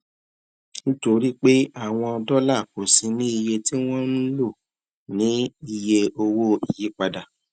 nítorí pé àwọn dólà kò sí ní iye tí wọn ń lò ní iye owó ìyípadà